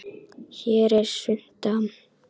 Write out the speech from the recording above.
Hérna er svunta